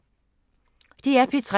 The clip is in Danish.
DR P3